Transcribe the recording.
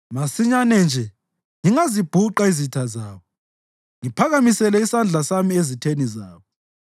masinyane nje ngingazibhuqa izitha zabo ngiphakamisele isandla sami ezitheni zabo!